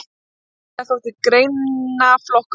Sennilega þótti greinaflokkurinn